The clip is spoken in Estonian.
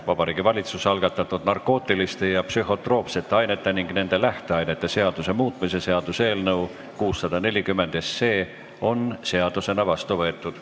Vabariigi Valitsuse algatatud narkootiliste ja psühhotroopsete ainete ning nende lähteainete seaduse muutmise seaduse eelnõu 640 on seadusena vastu võetud.